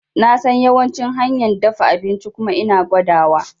Nasan yawancin hanyan dafa abinci kuma ina gwada wa